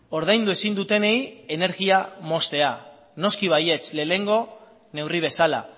ordaindu ezin dutenei energia moztea noski baietz lehenengo neurri bezala